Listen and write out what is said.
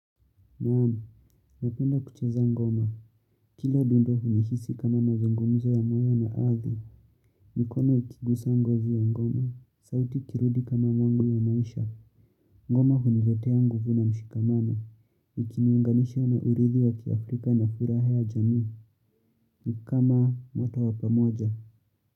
Mmmh napenda kucheza ngoma. Kila dundu ni hisi kama mazongomuza ya mwayo na aadhi. Mikono ikigusa ngozi ya ngoma. Sauti ikirudi kama mwangu ya maisha. Ngoma huniletea nguvu na mshikamano. Nikiunganisha na uridhi wa kiafrika na furaha ya jamii. Nikama moto wa pamoja.